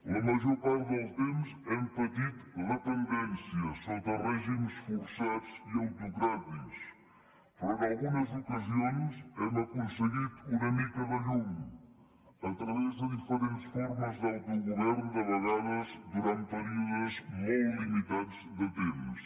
la major part del temps hem patit dependències sota règims forçats i autocràtics però en algunes ocasions hem aconseguit una mica de llum a través de diferents formes d’autogovern de vegades durant períodes molt limitats de temps